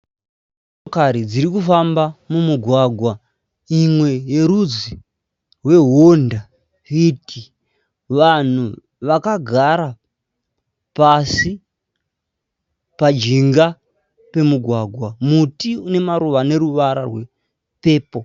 Motokari dzirikufamba mumugwagwa. Imwe yerudzi hweHonda fiti. Vanhu vagakara pasi pajinga pemugwagwa. Muti unemaruva aneruvara rwe pepo.